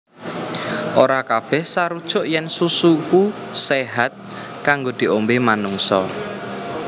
Ora kabèh sarujuk yèn susu iku séhat kanggo diombé manungsa